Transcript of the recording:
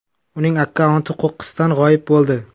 Uning akkaunti qo‘qqisdan g‘oyib bo‘ldi.